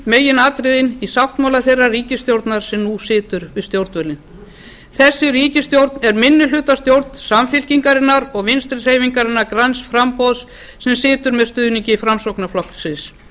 meginatriði í sáttmála þeirrar ríkisstjórnar sem nú situr við stjórnvölinn þessi ríkisstjórn er minnihlutastjórn samfylkingarinnar og vinstri hreyfingarinnar græns framboðs sem situr með stuðningi framsóknarflokksins